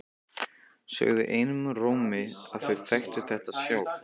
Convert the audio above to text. Sögðu einum rómi að þau þekktu þetta sjálf.